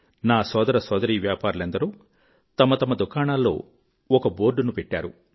నా సోదర సోదరీ వ్యాపారులెందరో తమ దుకాణాల్లో ఒక బోర్డ్ ను పెట్టారు